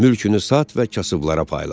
Mülkünü sat və kasıblara payla.